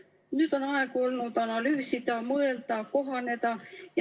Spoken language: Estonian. Nüüd on aega olnud analüüsida, mõelda, kohaneda.